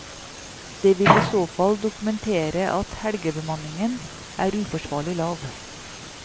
Det vil i så fall dokumentere at helgebemanningen er uforsvarlig lav.